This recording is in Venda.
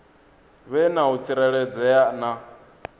vhe na u tsireledzea na